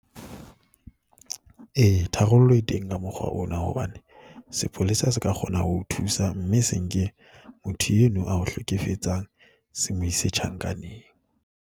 Ee, tharollo e teng ka mokgwa ona hobane sepolesa se ka kgona ho o thusa, mme se nke motho eno a o hlekefetsang se mo ise tjhankaneng.